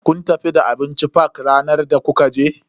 Kun tafi da abinci fak ranar da kuka je?